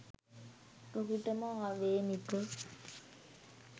ඔහුටම ආවේණික